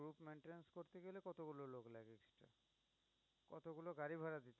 অগুলো গাড়ি ভাড়া